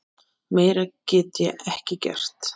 Meira get ég ekki gert.